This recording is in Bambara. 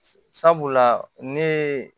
Sabula ne ye